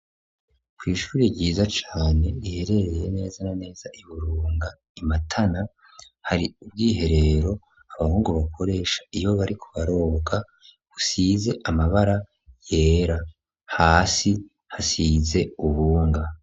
Kw'ishuri ryiza cane iherereye neza na neza i burunga imatana hari ubw'iherero abahungu bakoresha iyo bari kubaroboka usize amabara yera hasi hasize ubunga.